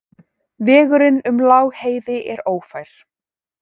Vegurinn um Lágheiði er ófær.